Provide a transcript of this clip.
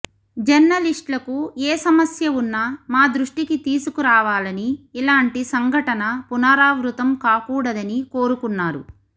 జర్నలిస్ట్లకు ఏ సమస్య ఉన్న మా దృష్టికి తీసుకరావాలని ఇలాంటి సంఘటన పునరావృతం కాకూడదని కోరుకున్నారు